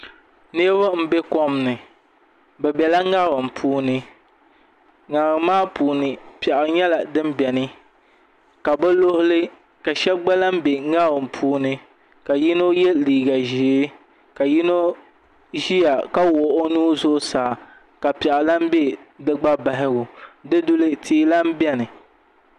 Nuraba n bɛ kom ni bi biɛla ŋarim puuni ŋarim maa puuni piɛɣu nyɛla din biɛni ka bi luɣuli ka shab gba lahi bɛ ŋarim puuni ka yino yɛ liiga ʒiɛ ka yino ʒiya ka wuhi o nuu zuɣusaa ka piɛɣu lahi bɛ di gba bahagu di duli tia lahi biɛni